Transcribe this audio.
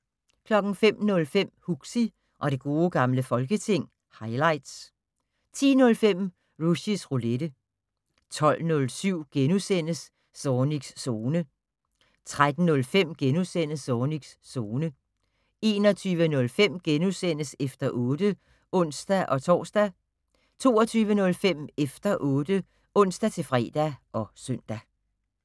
05:05: Huxi og det gode gamle folketing - highlights 10:05: Rushys Roulette 12:07: Zornigs Zone * 13:05: Zornigs Zone * 21:05: Efter 8 *(ons-tor) 22:05: Efter 8 (ons-fre og søn)